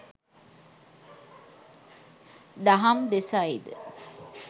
දහම් දෙසයි ද